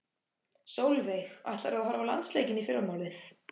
Sólveig: Ætlar þú að horfa á landsleikinn í fyrramálið?